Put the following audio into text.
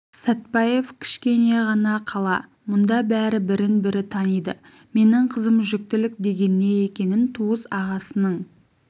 сәтпаев кішкене ғана қала мұнда бәрі бірін-бірі таниды менің қызым жүктілік деген не екенін туыс ағасының